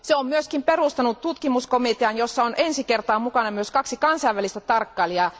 Se on myös perustanut tutkimuskomitean, jossa on ensi kertaa mukana myös kaksi kansainvälistä tarkkailijaa.